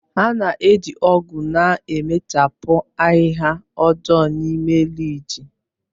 A na-eji ọ̀gu na-emechapụ ahịhịa ọjọọ na ime rịjị.